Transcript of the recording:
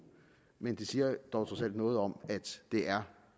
men det siger dog trods alt noget om at det er